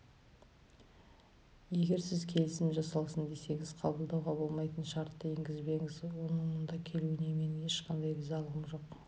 егер сіз келісім жасалсын десеңіз қабылдауға болмайтын шартты енгізбеңіз оның мұнда келуіне менің ешқандай ризалығым жоқ